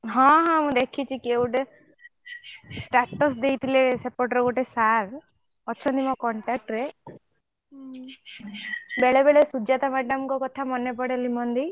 ହଁ ହଁ ମୁ ଦେଖିଛି କିଏ ଗୋଟେ status ଦେଇଥିଲେ ସେପଟରେ ଗୋଟେ sir ଅଛନ୍ତି ମୋ contact ରେ ବେଳେ ବେଳେ ସୁଜାତା madam ଙ୍କ କଥା ମାନେ ପଡେ ।